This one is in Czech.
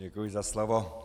Děkuji za slovo.